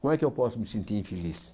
Como é que eu posso me sentir infeliz?